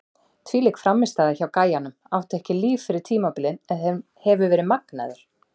Þvílík frammistaða hjá gæjanum, átti ekki líf fyrir tímabilið en hefur verið magnaður!